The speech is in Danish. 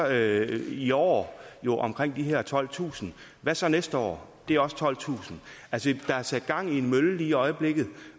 i år omkring de her tolvtusind hvad så næste år det er også tolvtusind altså der er sat gang i en mølle lige i øjeblikket